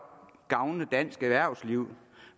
gavne dansk erhvervsliv